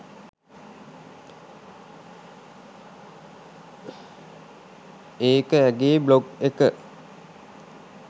ඒක ඇගේ බ්ලොග් එක